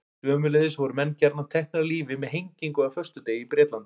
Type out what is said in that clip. Sömuleiðis voru menn gjarnan teknir af lífi með hengingu á föstudegi í Bretlandi.